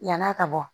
Yann'a ka bɔ